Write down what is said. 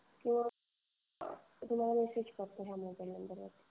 किंवा तुम्हाला मेसेज करतो फोनवर नंतर.